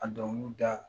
A dɔnkiliw da